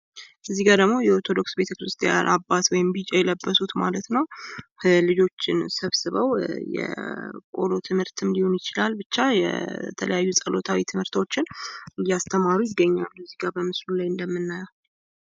እዚህ ጋር ደግሞ የኦርቶዶክስ ቤተክርስቲያን አባት ወይም ደግሞ ቢጫ የለበሱት ማለት ነው። ልጆችን ሰብስበው የቆሎ ትምህርት ሊሆን ይችላል ብቻ የተለያዩ ጸሎታዊ ትምህርቶችን እያስተማሩ ይገኛሉ። እዚህጋ በምስሉ ላይ እንደምናየው።